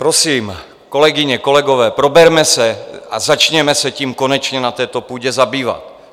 Prosím, kolegyně, kolegové, proberme se a začněme se tím konečně na této půdě zabývat.